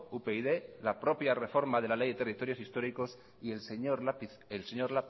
upyd la propia reforma de la ley de territorios históricos y el señor